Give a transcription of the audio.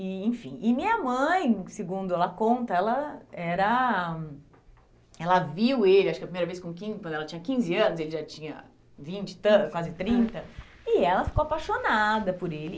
E enfim, e minha mãe, segundo ela conta, ela era ela viu ele, acho que a primeira vez com quin, quando ela tinha quinze anos, ele já tinha vinte e tan, quase trinta, e ela ficou apaixonada por ele.